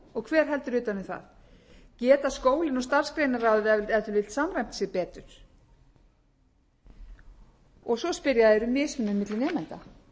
hver heldur utan um það geta skólinn og starfsgreinaráðið ef til vill samræmt sig betur og svo spyrja þeir um mismuninn milli nemenda það